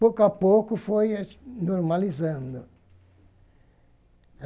Pouco a pouco foi normalizando.